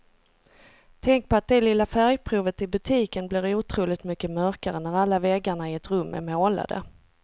Tänk på att det lilla färgprovet i butiken blir otroligt mycket mörkare när alla väggarna i ett rum är målade.